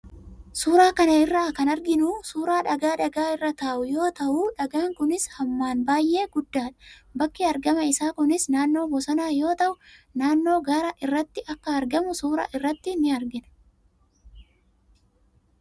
Suuraa kana irra kan arginu suuraa dhagaa dhagaa irra taa'uu yoo ta'u, dhagaan kunis hammaan baay'ee guddaadha. bakki argama isaa kunis naannoo bosonaa yoo ta'u, naannoo gaara irratti akka argamu suuraa irratti ni argina.